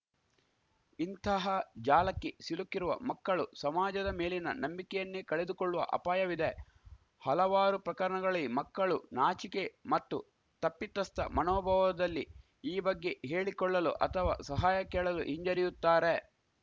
ಇಂತಹ ಜಾಲಕ್ಕೆ ಸಿಲುಕಿರುವ ಮಕ್ಕಳು ಸಮಾಜದ ಮೇಲಿನ ನಂಬಿಕೆಯನ್ನೇ ಕಳೆದುಕೊಳ್ಳುವ ಅಪಾಯವಿದೆ ಹಲವಾರು ಪ್ರಕರಣಗಳಿ ಮಕ್ಕಳು ನಾಚಿಕೆ ಮತ್ತು ತಪ್ಪಿತಸ್ಥ ಮಣೊಭಾವದಲ್ಲಿ ಈ ಬಗ್ಗೆ ಹೇಳಿಕೊಳ್ಳಲು ಅಥವಾ ಸಹಾಯ ಕೇಳಲೂ ಹಿಂಜರಿಯುತ್ತಾರೆ